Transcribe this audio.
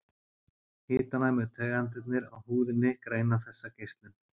Hitanæmu taugaendarnir á húðinni greina þessa geislun.